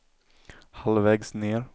halvvägs ned